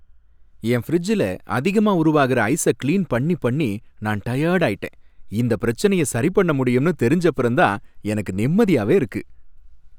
என் ஃபிரிட்ஜ்ல அதிகமா உருவாகுற ஐஸ கிளீன் பண்ணி பண்ணி நான் டயர்டாயிட்டேன், இந்தப் பிரச்சனைய சரி பண்ண முடியும்னு தெரிஞ்சப்பறம் தான் எனக்கு நிம்மதியாவே இருக்கு.